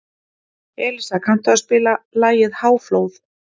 Elísa, kanntu að spila lagið „Háflóð“?